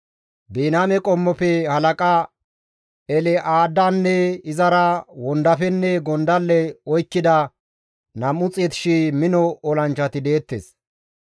Biniyaame qommofe halaqa El7aadanne izara wondafenne gondalle oykkida 200,000 mino olanchchati deettes.